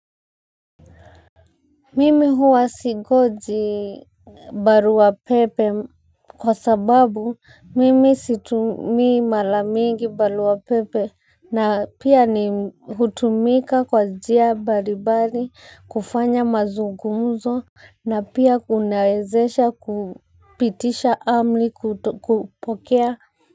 Mimi huwa singoji baruapepe kwa sababu mimi situmii mara mingi baruapepe na pia ni hutumika kwa njia mbalimbali kufanya mazungumzo na pia kunawezesha kupitisha amri kupokea.